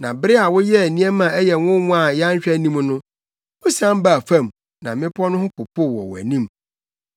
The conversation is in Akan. Na bere a woyɛɛ nneɛma a ɛyɛ nwonwa a yɛanhwɛ anim no, wusian baa fam na mmepɔw no ho popoo wɔ wʼanim.